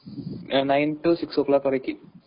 Nine to six o clock வரைக்கும்.